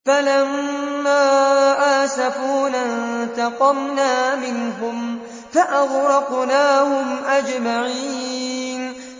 فَلَمَّا آسَفُونَا انتَقَمْنَا مِنْهُمْ فَأَغْرَقْنَاهُمْ أَجْمَعِينَ